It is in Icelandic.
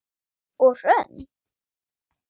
Og Hrönn?